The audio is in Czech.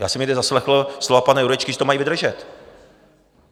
Já jsem někde zaslechl slova pana Jurečky, že to mají vydržet.